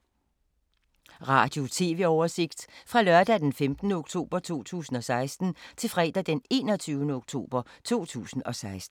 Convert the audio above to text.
Radio/TV oversigt fra lørdag d. 15. oktober 2016 til fredag d. 21. oktober 2016